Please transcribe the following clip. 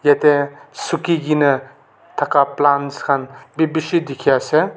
yatae suki kaena thaka plants khan bi bishi dikhiase.